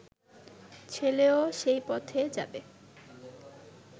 ছেলেও সেই পথে যাবে